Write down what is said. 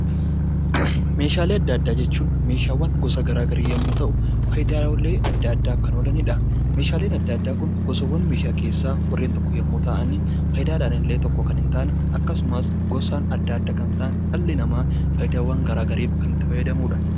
Meeshaalee addaa addaa jechuun Meeshaawwan gosa garaagaraa yemmuu ta'u, fayidaalee addaa addaaf kan oolanidha. Meeshaaleen addaa addaa Kun gosaawwan meeshaa keessaa warreen tokko yoo ta'an, fayidaadhan illee tokko kan hin taane, gosaan addaa addaa kan ta'an, dhalli namaa fayidaawwan garaagaraaf kan itti fayyadamudha.